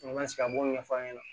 sigi an b'o ɲɛfɔ a ɲɛna